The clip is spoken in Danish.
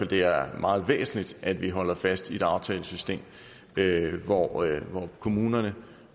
det er meget væsentligt at vi holder fast i et aftalesystem hvor kommunerne